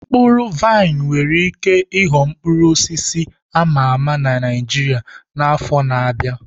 Mkpụrụ vaịn nwere ike ịghọ mkpụrụ osisi a ma ama na Naijiria n'afọ ndị na-abịa.